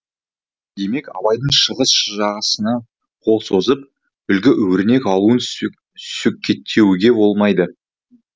демек абайдың шығыс жағасына қол созып үлгі өрнек алуын сөкеттеуге болмайды